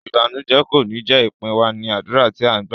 Ìbànújẹ kò ní jé ìpín wa, ní àdúrà tí a gbá.